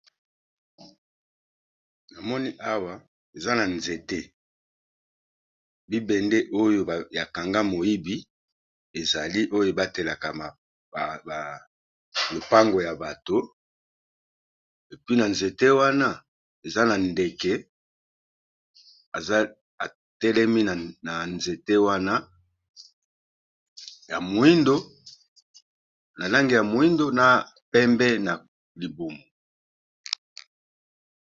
Na moni awa eza na nzete bi bende oyo ya kanga moyibi ezali oyo ebatelaka ba lopango ya bato, epi na nzete wana eza na ndeke etelemi na nzete wana na langi ya mwindo, na pembe na libumu.